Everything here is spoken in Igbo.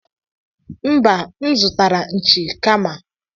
Mba, M zụtara nchi kama.